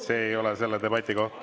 See ei ole selle debati koht.